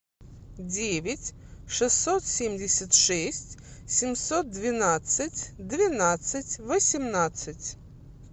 девять шестьсот семьдесят шесть семьсот двенадцать двенадцать восемнадцать